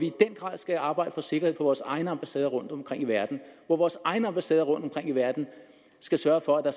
i den grad skal arbejde for sikkerhed på vores egne ambassader rundtomkring i verden hvor vores egne ambassader rundtomkring i verden skal sørge for at der